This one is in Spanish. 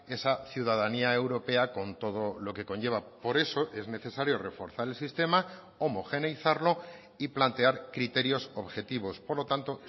esa ciudadanía europea con todo lo que conlleva por eso es necesario reforzar el sistema homogeneizarlo y plantear criterios objetivos por lo tanto